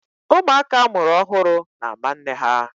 Ụmụaka a mụrụ ọhụrụ na-ámá nne ha.